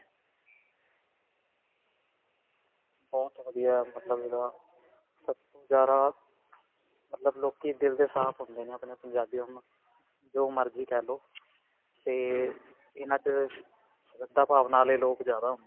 ਬਹੁਤ ਵਧੀਆ, ਮਤਲਬ ਇਸ ਦਾ ਸਭ ਤੋਂ ਜਿਆਦਾ, ਮਤਲਬ ਲੋਕੀ ਦਿਲ ਦੇ ਸਾਫ਼ ਹੁੰਦੇ ਨੇ ਆਪਣੇ-ਆਪਣੇ ਜੋ ਮਰਜੀ ਕਿਹ ਲਵੋ, ਤੇ ਇਹਨਾਂ 'ਚ ਸ਼੍ਰਦ੍ਧਾ ਭਾਵਨਾ ਵਾਲੇ ਲੋਕ ਜਿਆਦਾ ਹੁੰਦੇ ਨੇ.